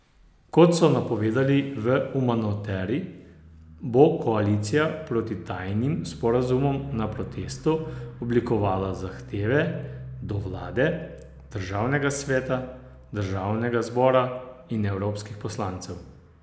Kot so napovedali v Umanoteri, bo Koalicija proti tajnim sporazumom na protestu oblikovala zahteve do vlade, Državnega sveta, Državnega zbora in evropskih poslancev.